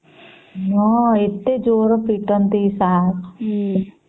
ହନନ ଏତେ ଜୋର ପୀଟନ୍ତି ସାର